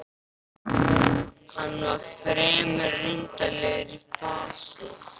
Hann var fremur undarlegur í fasi.